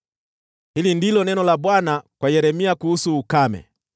Hili ndilo neno la Bwana kwa Yeremia kuhusu ukame: